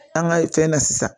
An ka fɛn na sisan